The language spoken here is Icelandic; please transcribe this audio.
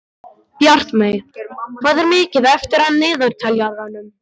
Bjartmey, hvað er mikið eftir af niðurteljaranum?